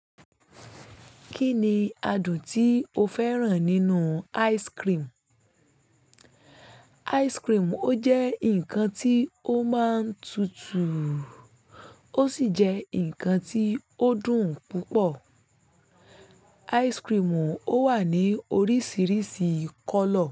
Kí ni adùn tí o fẹ́ràn nínú ice cream? Ice cream ó jẹ́ ǹkan tí ó máa ń tutù, ó sì jẹ́ ǹkan tí ó dùn púpọ̀. Ice cream ó wà ní oríṣiríṣi color.